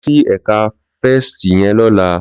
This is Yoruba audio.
Lò si èkà Fèstí yèn lòlá